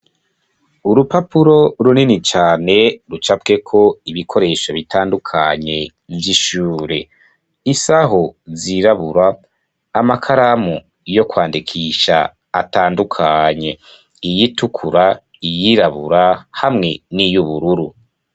Urupapuro runini cane, rucapweko ibikoresho bitandukanye vy'ishure; isaho zirabura, amakaramu yo kwandikisha, atandukanye; iyitukura, iyirabura, hamwe n'iy'ubururu.